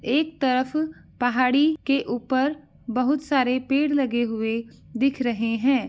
एक तरफ पहाड़ी के ऊपर बहोत सारे पेड़ लगे हुए दिख रहे हैं।